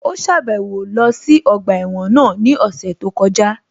Ó sàbẹ̀wo lọ sí ọgbà ẹ̀wọ̀n náà ní ọ̀sẹ̀ tó kọjá